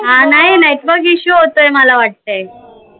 अं नई network issue होतोय मला वाटतय